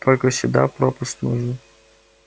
только сюда пропуск нужен